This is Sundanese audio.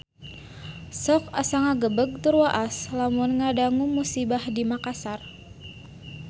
Sok asa ngagebeg tur waas lamun ngadangu musibah di Makassar